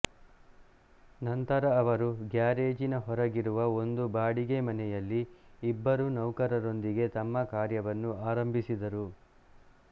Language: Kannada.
ನಂತರ ಅವರು ಗ್ಯಾರೇಜಿನ ಹೊರಗಿರುವ ಒಂದು ಬಾಡಿಗೆ ಮನೆಯಲ್ಲಿ ಇಬ್ಬರು ನೌಕರರೊಂದಿಗೆ ತಮ್ಮ ಕಾರ್ಯವನ್ನು ಆರಂಭಿಸಿದರು